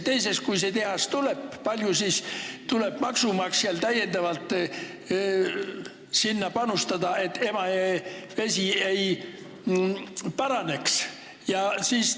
Teiseks, kui see tehas tuleb, kui palju siis tuleb maksumaksjal täiendavalt panustada, et Emajõe vee seisukord paraneks?